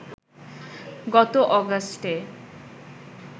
গত অগাস্টে